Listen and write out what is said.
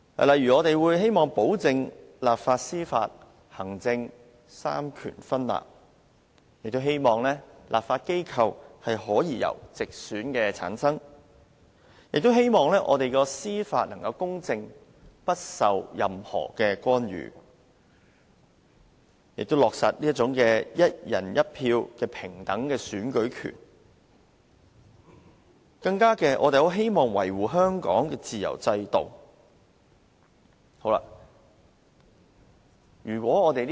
例如，我們希望保證行政、立法、司法三權分立，希望立法機構所有議席由直選產生，亦希望我們的司法體制能公正，不受任何干預，希望落實"一人一票"的平等選舉權，更希望維護香港的自由制度。